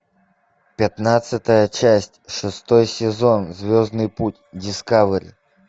пятнадцатая часть шестой сезон звездный путь дискавери